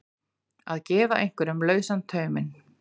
Að gefa einhverjum lausan tauminn